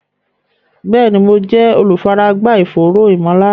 Bẹ́ẹ̀ni, mo jẹ́ olùfaragbá ìfòòró ìmọ̀lára